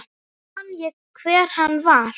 Man ég hver hann var?